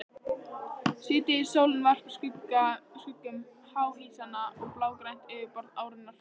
Síðdegissólin varpar skuggum háhýsanna á blágrænt yfirborð árinnar.